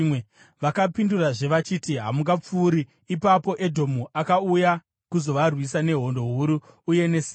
Vakapindurazve vachiti: “Hamungapfuuri.” Ipapo Edhomu akauya kuzovarwisa nehondo huru uye ine simba.